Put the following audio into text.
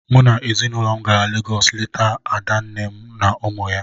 Mụ na ezinụlọ m gara Legọs leta ada nne m na ụmụ ya.